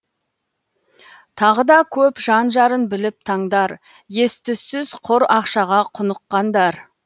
тағы да көп жан жарын біліп таңдар ес түссіз құр ақшаға құныққандар